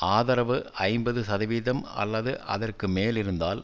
ஆதரவு ஐம்பது சதவீதம் அல்லது அதற்கு மேலிருந்தால்